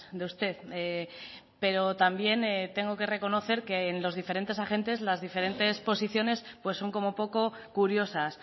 de usted pero también tengo que reconocer que en los diferentes agentes las diferentes posiciones son como poco curiosas